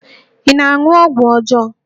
Ị na-aṅụ ọgwụ ọjọọ?